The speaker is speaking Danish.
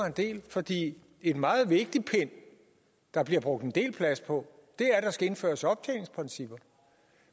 en del fordi en meget vigtig pind der bliver brugt en del plads på er at der skal indføres optjeningsprincipper